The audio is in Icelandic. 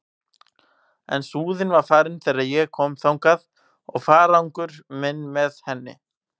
En Súðin var farin þegar ég kom þangað og farangur minn með henni.